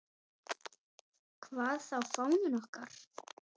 Hvað þá fáninn okkar.